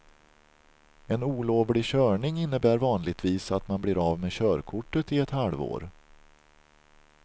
En olovlig körning innebär vanligtvis att man blir av med körkortet i ett halvår.